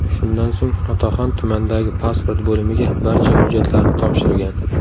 Shundan so‘ng, otaxon tumandagi pasport bo‘limiga barcha hujjatlarni topshirgan.